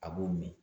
A b'o min